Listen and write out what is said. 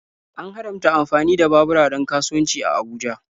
An haramta amfani da babura don kasuwanci a Abuja.